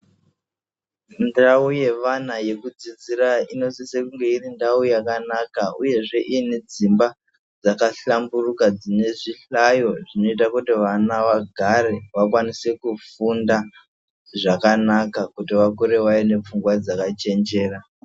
Ndau yevana yekudzidzirainosisa kunge iri ndau yakanaka uyezve ine dzimba dzakahlamburuka dzine zvihlayo zvinoita kuti vana vagare vakwanise kufunda zvakanaka kuti vakure vaine pfungwa dzakachenjera.